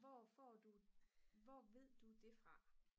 hvor får du hvor ved du det fra